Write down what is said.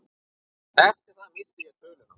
Eftir það missti ég töluna.